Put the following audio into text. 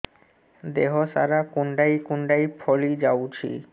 ଦେହ ସାରା କୁଣ୍ଡାଇ କୁଣ୍ଡାଇ ଫଳି ଯାଉଛି